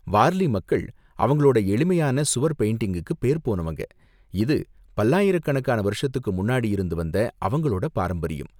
வார்லி மக்கள் அவங்களோட எளிமையான சுவர் பெயிண்டிங்குக்கு பேர்போனவங்க, இது பல்லாயிரக்கணக்கான வருஷத்துக்கு முன்னாடி இருந்து வந்த அவங்களோட பாரம்பரியம்.